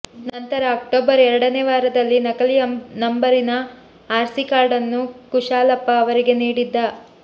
ನಂತರ ಅಕ್ಟೋಬರ್ ಎರಡನೇ ವಾರದಲ್ಲಿ ನಕಲಿ ನಂಬರಿನ ಆರ್ ಸಿ ಕಾರ್ಡನ್ನು ಕುಶಾಲಪ್ಪ ಅವರಿಗೆ ನೀಡಿದ್ದ